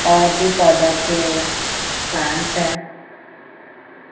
और भी पौधों के प्लांट्स है।